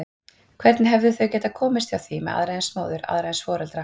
Hvernig hefðu þau getað hjá því komist með aðra eins móður, aðra eins foreldra?